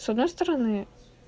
с одной стороны